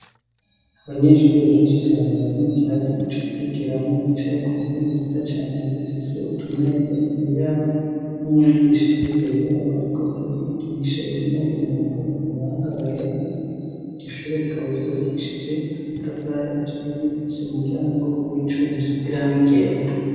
Abanyeshuri benshi cane bari mu kirasi co kwigeramwo bicaye ku ntewe nziza cane zifise utumeza imbere yabo no mwigisha ari mbere yabo, ariko arabigisha yambaye mwambaro umuranga wera igishuro rikaba ryubakishije amatafare aturiye rifise umuryango w'icumusizirangegera.